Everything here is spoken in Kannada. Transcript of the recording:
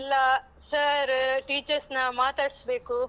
ಎಲ್ಲ sir, teachers ನ ಮಾತಾಡ್ಸ್ಬೇಕು.